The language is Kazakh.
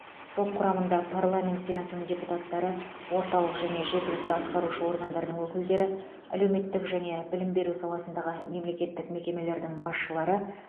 топ құрамында парламент сенатының депутаттары орталық және жергілікті атқарушы органдардың өкілдері әлеуметтік және білім беру саласындағы мемлекеттік мекемелердің басшылары